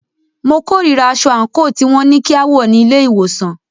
Mo kòrira aṣọ àńkò tí wọn ní kí a wọ̀ ní ilé ìwòsàn.